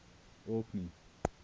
orkney